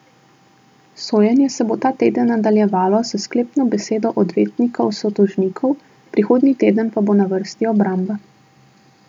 Sojenje se bo ta teden nadaljevalo s sklepno besedo odvetnikov sotožnikov, prihodnji teden pa bo na vrsti obramba.